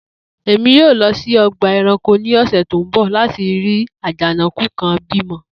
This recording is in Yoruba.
Emi yoo lọ si ọgba ẹranko ni ọsẹ ti n bọ lati rii ajanakun kan bimọ